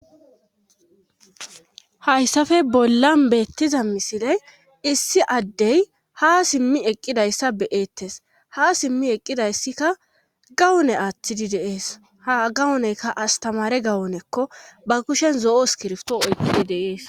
Hayssafe bollan beettiza misile issi addey ha simmi eqqidayssa beyeettes ha simmi eqqidayssikka gawone aathtidi deees ha gawoneyka astamare gawonekko ba kushen zo'o skirfto oykkidi dees.